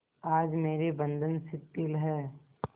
आज मेरे बंधन शिथिल हैं